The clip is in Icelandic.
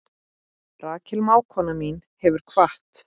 Rakel mágkona mín hefur kvatt.